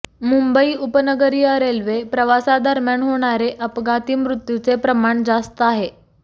मुंबई उपनगरीय रेल्वे प्रवासादरम्यान होणारे अपघाती मृत्यूचे प्रमाण जास्त आहे